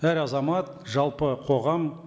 әр азамат жалпы қоғам